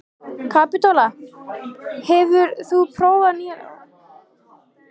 Kapitola, hefur þú prófað nýja leikinn?